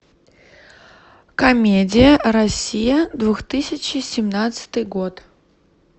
комедия россия двух тысячи семнадцатый год